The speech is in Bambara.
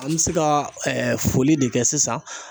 An bɛ se ka foli de kɛ sisan.